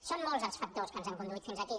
són molts els factors que ens han conduït fins aquí